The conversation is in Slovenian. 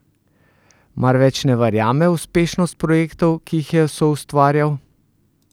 Mar več ne verjame v uspešnost projektov, ki jih je soustvarjal?